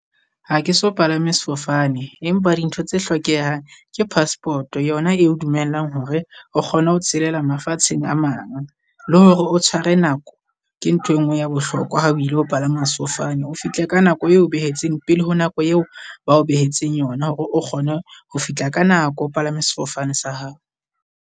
Ha ke so palame sefofane, empa dintho tse hlokehang ke passport yona eo dumellang hore o kgone ho tshelela mafatsheng a mang. Le hore o tshware nako ke ntho e nngwe ya bohlokwa ha o ilo palama sefofane o fihle ka nako eo o behetseng, pele ho nako eo ba o behetseng yona. O kgone ho fihla ka nako o palame sefofane sa hao.